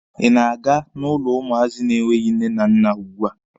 Ị na-aga n'ụlọ ụmụazị na-enweghi nne na nna ugbua?